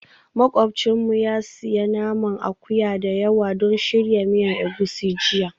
Makwabcinmu ya sayi naman akuya da yawa don shirya miya egusi jiya